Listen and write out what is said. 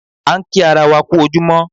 A ń kí ara wa kú ojúmọ́